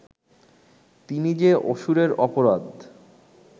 তিনি যে অসুরের অপরাধ